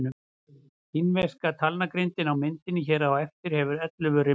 Kínverska talnagrindin á myndinni hér á eftir hefur ellefu rimla.